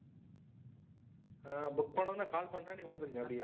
book பண்ணின உடனே call பண்றேன். நீங்க வந்துடுங்க அப்பிடி.